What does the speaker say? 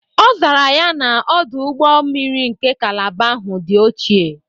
Ọ zara ya na, Ọdụ ụgbọ mmiri nke kalaba ahụ dị ochie.